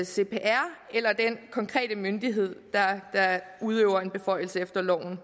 cpr eller den konkrete myndighed der udøver en beføjelse efter loven